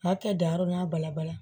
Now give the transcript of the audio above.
A kɛ dahoronna balabala